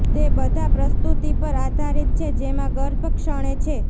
તે બધા પ્રસ્તુતિ પર આધારિત છે જેમાં ગર્ભ ક્ષણે છે